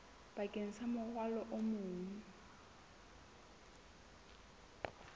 bakeng sa morwalo o mong